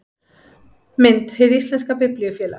Mynd: Hið íslenska Biblíufélag